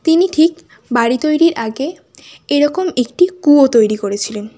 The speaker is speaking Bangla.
তিনি ঠিক বাড়ি তৈরীর আগে এরকম একটি কুয়ো তৈরি করেছিলেন।